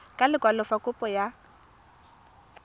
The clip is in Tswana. ka lekwalo fa kopo ya